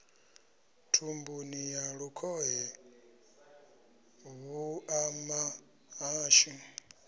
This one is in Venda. thumbuni ya lukhohe vhuṱama hashu